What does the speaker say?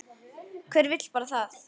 Hver vill bara það?